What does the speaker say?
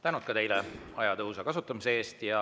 Tänud ka teile aja tõhusa kasutamise eest!